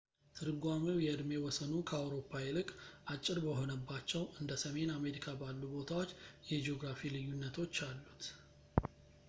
ትርጓሜው የእድሜ ወሰኑ ከአውሮፓ ይልቅ አጭር በሆነባቸው እንደ ሰሜን አሜሪካ ባሉ ቦታዎች የጂኦግራፊ ልዩነቶች አሉት